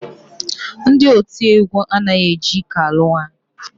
Ndị otiegwu anaghị eji ike alụ nwaanyị